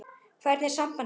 Hvernig er samband ykkar?